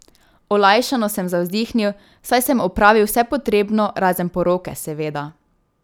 Olajšano sem zavzdihnil, saj sem opravil vse potrebno, razen poroke, seveda.